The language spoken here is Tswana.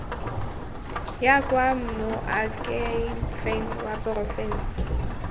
ya kwa moakhaefeng wa porofense